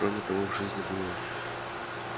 кроме того в жизни было